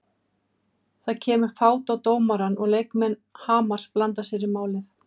Það kemur fát á dómarann og leikmenn Hamars blanda sér í málið.